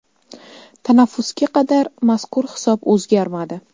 Tanaffusga qadar, mazkur hisob o‘zgarmadi.